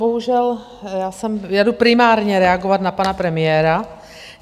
Bohužel, já jdu primárně reagovat na pana premiéra.